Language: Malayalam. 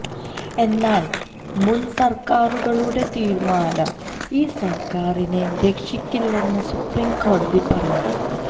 എന്നാൽ മുൻസർക്കാരുകളുടെ തീരുമാനം ഈ സർക്കാരിനെ രക്ഷിക്കില്ലെന്ന് സുപ്രീം കോടതി പറഞ്ഞു